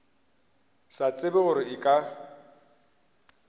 sa tsebe gore e ka